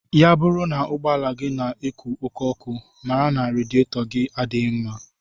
Ya bụrụ na ụgbọala gị na-eku oké ọkụ, mara na radiyetọgi adịghị mma